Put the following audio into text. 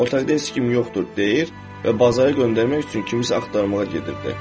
Otaqda heç kim yoxdur, deyir və bazara göndərmək üçün kimisə axtarmağa gedirdi.